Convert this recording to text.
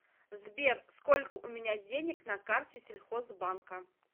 сбер сколько у меня денег на карте сельхозбанка